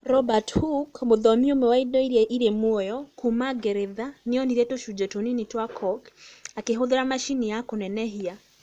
Robert Hooke, mũthomi ũmwe wa indo iria irĩ muoyo kuuma Ngeretha, nĩ onire tũcunjĩ tũnini twa cork akĩhũthĩra macini ya kũnenehia.